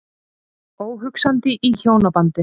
Óhugsandi í hjónabandi.